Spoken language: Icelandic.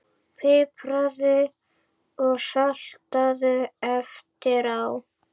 Pipraðu og saltaðu eftir á.